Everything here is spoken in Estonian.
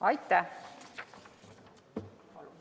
Aitäh!